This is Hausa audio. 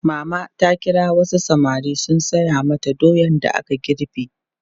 Mama ta kira wasu samari su saya mata doyan da aka girbe.